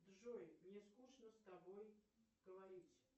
джой мне скучно с тобой говорить